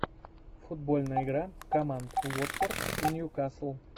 футбольная игра команд уотфорд и ньюкасл